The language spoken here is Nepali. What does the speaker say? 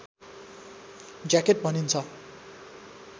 ज्याकेट भनिन्छ